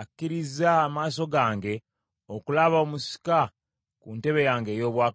akkirizza amaaso gange okulaba omusika ku ntebe yange ey’obwakabaka leero.’ ”